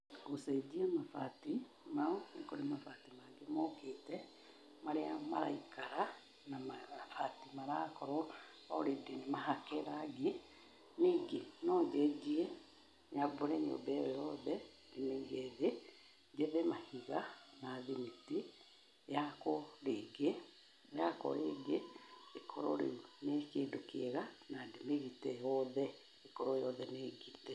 Gũcenjia mabati ma rũthingo nĩ mabati mangĩ mokĩte, marĩa maraikara, na mabati marakorwo already nĩ mahake rangi. Ningĩ no njenjie, nyambũre nyũmba ĩyo yothe ndĩmĩige thĩ, njethe mahiga na thimiti, yakwo rĩngĩ, yakwo rĩngĩ, ĩkorwo rĩu nĩ kĩndũ kĩega na ndĩmĩgite yothe, ĩkorwo yothe nĩngite.